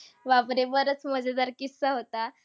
बापरे, बराच मजेदार किस्सा होता.